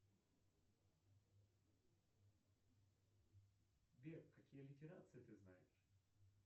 сбер какие литерации ты знаешь